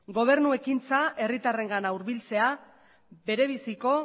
gobernu ekintza herritarrengana hurbiltzea berebiziko